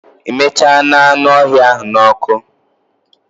I michana anü öhïa ahu na oku